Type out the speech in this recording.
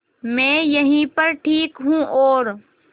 मैं यहीं पर ठीक हूँ और